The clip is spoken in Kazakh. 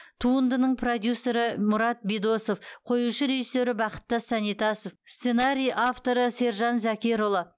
туындының продюсері мұрат бидосов қоюшы режиссері бақыттас санитасов сценарий авторы сержан зәкерұлы